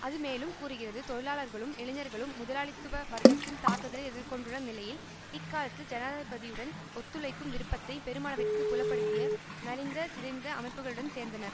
அது மேலும் கூறுகிறது தொழிலாளர்களும் இளைஞர்களும் முதலாளித்துவ வர்க்கத்தின் தாக்குதலை எதிர் கொண்டுள்ள நிலையில் இக்காலத்தில் ஜனாதிபதியுடன் ஒத்துழைக்கும் விருப்பத்தை பெருமளவிற்கு புலப்படுத்திய நலிந்த சிதைந்த அமைப்புக்களுடன் சேர்ந்தனர்